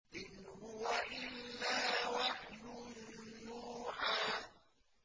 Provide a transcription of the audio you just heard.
إِنْ هُوَ إِلَّا وَحْيٌ يُوحَىٰ